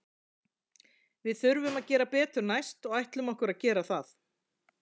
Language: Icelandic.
Við þurfum að gera betur næst og ætlum okkur að gera það.